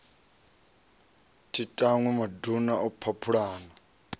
thi tanwi maduna a phaphulana